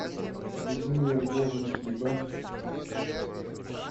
людмила львовна киба